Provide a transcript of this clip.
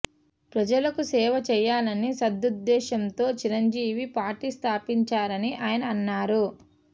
ప్రజలకు సేవ చేయాలనే సదుద్దేశంతో చిరంజీవి పార్టీ స్థాపించారని ఆయన అన్నారు